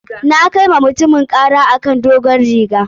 Na kai wa mutumin ƙara a kan dogon rigar.